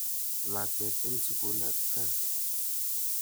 Lakwet eng' sukul ak kaa.